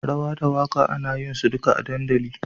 Rawa da waka ana yinsu duka a dandali.